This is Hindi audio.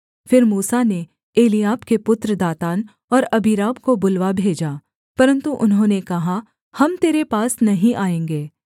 फिर मूसा ने एलीआब के पुत्र दातान और अबीराम को बुलवा भेजा परन्तु उन्होंने कहा हम तेरे पास नहीं आएँगे